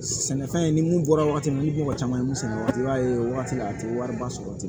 Sɛnɛfɛn ni mun bɔra wagati min na ni mɔgɔ caman ye mun sɛnɛ waati i b'a ye o wagati la a ti wariba sɔrɔ ten